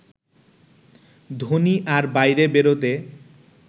ধোনি আর বাইরে বেরোতে